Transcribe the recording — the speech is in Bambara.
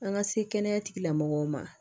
An ka se kɛnɛya tigilamɔgɔw ma